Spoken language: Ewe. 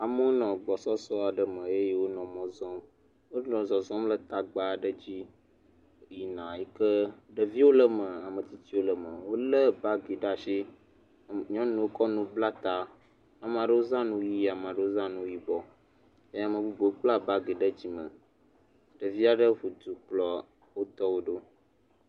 Amewo nɔ gbɔsɔsɔ aɖe me eye wonɔ mɔ zɔm. Wonɔ zɔzɔm le tagba aɖe dzi yike ɖevi wole eme. Ame tsitsiwo le eme. Wòle bagi ɖe asi. Nyɔnuwo kɔ nu kɔ bla ta. Ame aɖe zã nu ɣi, ame aɖewo zã nu yibɔ. Ame vovovo kpla bagi ɖe dzime. Ɖevi aɖe ʋu du kplɔ etɔwo ɖo